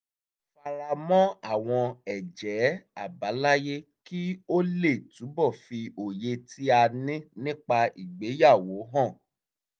a fara mọ́ àwọn ẹ̀jẹ́ àbáláyé kí ó lè túbọ̀ fi òye tí a ní nípa ìgbéyàwó hàn